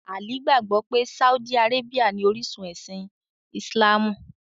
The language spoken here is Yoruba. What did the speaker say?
Ali gbagbọ̀ pẹ̀ Sáúdì Àrábíà ní orisun ẹ̀sìn Islamú.